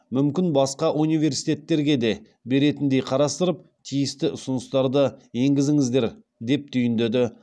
мүмкін басқа университеттерге де беретіндей қарастырып тиісті ұсыныстарды енгізіңіздер деп түйіндеді